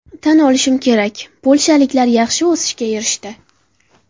Tan olishim kerak, polshaliklar yaxshi o‘sishga erishdi.